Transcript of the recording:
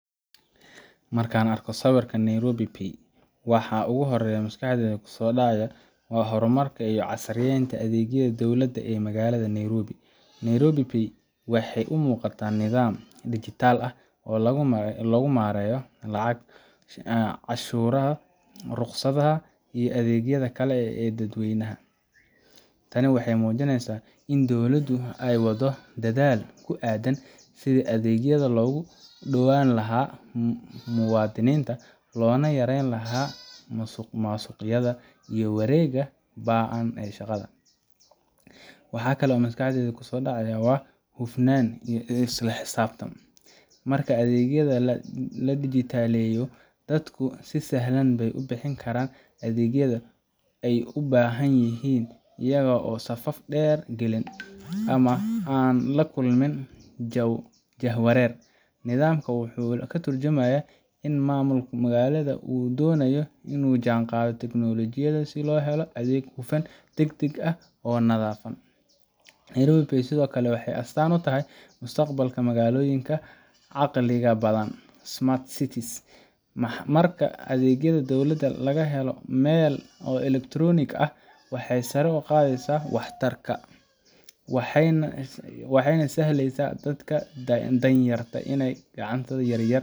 Marka aan arko sawirka Nairobi Pay, waxa ugu horreeya ee maskaxdayda ku soo dhacaya waa horumarka iyo casriyeynta adeegyada dowladda ee magaalada Nairobi. Nairobi Pay waxay u muuqataa nidaam dhijitaal ah oo lagu maareeyo lacago, canshuuraha, ruqsadaha iyo adeegyada kale ee dadweynaha. Tani waxay muujinaysaa in dowladdu ay waddo dadaal ku aaddan sidii adeegyada loogu dhownaan lahaa muwaadiniinta, loona yareyn lahaa musuqmaasuqayada iyo wareegga ba'an ee shaqada. Waxa kale oo maskaxdayda ku soo dhacaya waa hufnaan iyo isla xisaabtan. Marka adeegyada la dhijitaaleeyo, dadku si sahlan bay u bixin karaan adeegyada ay u baahan yihiin, iyaga oo aan safaf dheer gelin, ama aan la kulmin jahwareer. Nidaamkan wuxuu ka tarjumayaa in maamulka magaalada uu doonayo in uu la jaanqaado teknoolojiyadda si loo helo adeeg hufan, degdeg ah, oo daahfuran. Nairobi Pay sidoo kale waxay astaan u tahay mustaqbalka magaalooyinka caqliga badan smart cities. Marka adeegyada dowladda laga helo hal meel oo elektaroonik ah, waxay sare u qaadaysaa waxtarka, waxayna u sahlaysaa dadka danyarta ah iyo ganacsatada yaryar.